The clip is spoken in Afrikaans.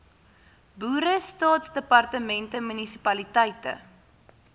boere staatsdepartemente munisipaliteite